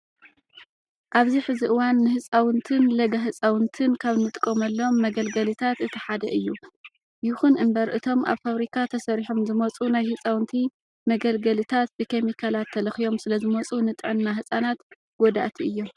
ኣብዚ ሕዚ እዋን ንህፃውንትን ለጋ ህፃውንትን ካብ እንጥቀመሎም መገልገልታት እቲ ሓደ እዩ። ይኹን እምበር እቶም ኣብ ፋብሪካ ተሰሪሖም ዝመፅኡ ናይ ህፃውንቲ መገልገልታት ብኬሚካላት ተለኽዮም ስለዝመፁ ንጥዕና ህፃናት ጎዳእቲ እዮም።